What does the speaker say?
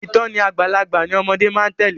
Ìtòní àgbàlagbà ni ọmọde máa tèlé.